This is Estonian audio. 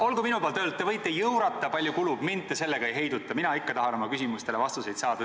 Olgu minu poolt öeldud, et te võite jõurata nii palju kui kulub, mind te sellega ei heiduta, mina tahan ikka oma küsimustele vastuseid saada.